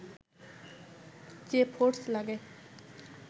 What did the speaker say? যে ফোর্স লাগে